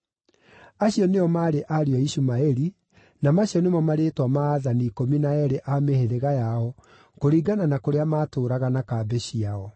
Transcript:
Acio nĩo maarĩ ariũ a Ishumaeli, na macio nĩmo marĩĩtwa ma aathani ikũmi na eerĩ a mĩhĩrĩga yao kũringana na kũrĩa maatũũraga na kambĩ ciao.